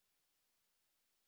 ਵਾਰ check ਕਰ ਲਵੋ